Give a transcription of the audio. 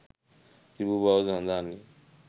තිබූ බවද සඳහන්ය.